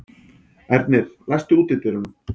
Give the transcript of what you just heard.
Ernir, læstu útidyrunum.